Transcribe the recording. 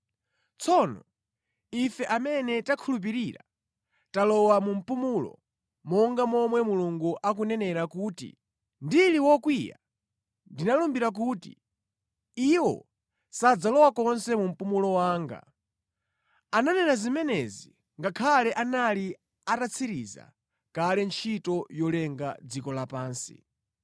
Tsono ife amene takhulupirira talowa mu mpumulo, monga momwe Mulungu akunenera kuti, “Ndili wokwiya ndinalumbira kuti, ‘Iwo sadzalowa konse mu mpumulo wanga.’ ” Ananena zimenezi ngakhale anali atatsiriza kale ntchito yolenga dziko lapansi.